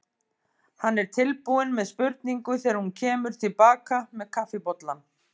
Hann er tilbúinn með spurningu þegar hún kemur til baka með kaffibollann.